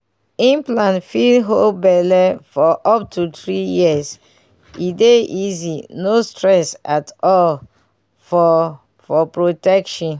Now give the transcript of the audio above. implant fit hold belle for up to three years e dey easy no stress at all for for protection.